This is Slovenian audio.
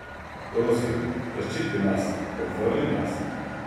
Prosim, zaščiti nas, obvaruj nas.